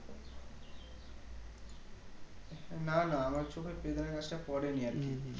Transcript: না না আমার চোখে বেদানা গাছটি পড়েনি আরকি